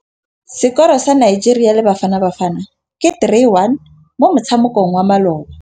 Sekôrô sa Nigeria le Bafanabafana ke 3-1 mo motshamekong wa malôba.